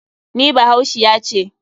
NI bahaushiya ce.